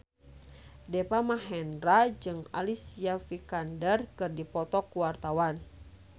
Deva Mahendra jeung Alicia Vikander keur dipoto ku wartawan